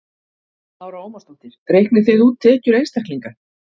Lára Ómarsdóttir: Reiknið þið út tekjur einstaklinga?